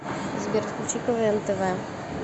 сбер включи квн тв